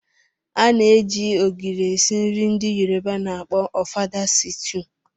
A na-eji ogiri esi nri ndị Yoruba na akpọ ofada sitew.